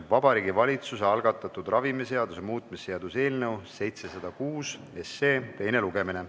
Vabariigi Valitsuse algatatud ravimiseaduse muutmise seaduse eelnõu 706 teine lugemine.